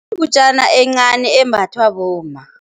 Yingutjana encani embathwa bomma.